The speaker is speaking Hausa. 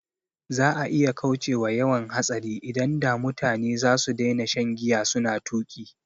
Za'a iya kaucewa yawan hatsari idan da mutane zasu daina shan giya suna tuƙi